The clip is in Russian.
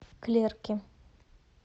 клерки